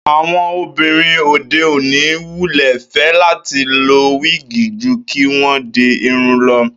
Àwo̩n obìnrin òde òní wulè̩ fé̩ láti lo wíìgì ju kí wó̩n di irun lo̩